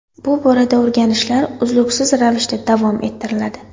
Bu borada o‘rganishlar uzluksiz ravishda davom ettiriladi.